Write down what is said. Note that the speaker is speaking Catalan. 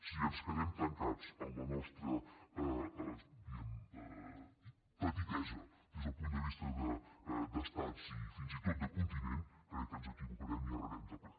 si ens quedem tancats en la nostra diguem ne petitesa des del punt de vista d’estats i fins i tot de continent crec que ens equivocarem i errarem de ple